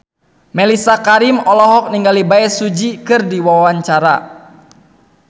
Mellisa Karim olohok ningali Bae Su Ji keur diwawancara